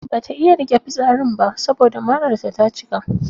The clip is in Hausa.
Bata iya rike fitsarin ba saboda mararta ta cika.